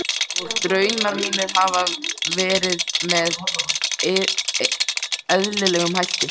Og draumar mínir hafa verið með eðlilegum hætti.